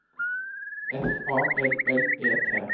F A L L E T